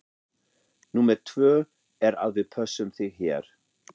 Númer tvö er að við pössum þig hér.